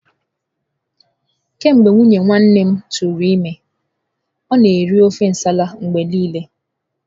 Kemgbe nwunye nwanne m tụrụ ime, ọ na-eri ofe nsala mgbe niile.